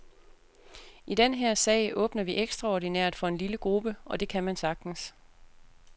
I den her sag åbner vi ekstraordinært for en lille gruppe, og det kan man sagtens.